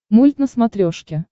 мульт на смотрешке